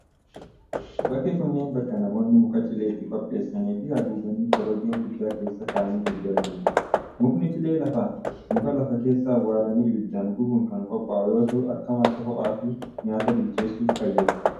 Bakki kunneen, bakka namoonni muka cilee itti qopheessanii fi haguuganiii korojoo guddaa keessa ka'anii gurguranii dah. Mukni cilee lafa muka lafa keessa awwalanii ibiddaan gubuun kan qophaa'u yoo ta'u, akka madda ho'aa fi nyaata bilcheessuuf fayyada.